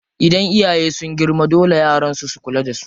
Idan iyaye sun girma, dole yara su kula da su.